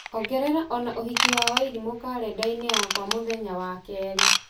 ongerera ona ũhiki wa wairimũ karenda-inĩ yakwa mũthenya wa kerĩ